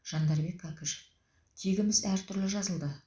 жандарбек кәкішев тегіміз әртүрлі жазылды